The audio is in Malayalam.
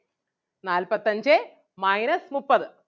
നാല്പത്തഞ്ചേ minus മുപ്പത്